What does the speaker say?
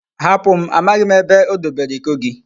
Hapum! Amaghim ebe odebere Iko gi